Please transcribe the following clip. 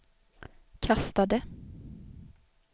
kastade